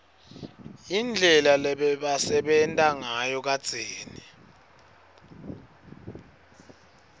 indlela lebebasebenta ngayo kadzeni